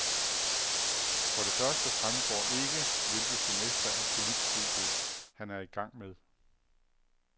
For det første fremgår ikke, hvilket semester af politstudiet han er i gang med.